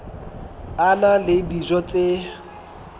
a na le dijo tse